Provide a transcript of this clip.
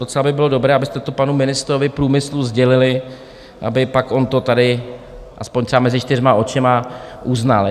Docela by bylo dobré, abyste to panu ministrovi průmyslu sdělili, aby pak on to tady aspoň třeba mezi čtyřma očima uznal.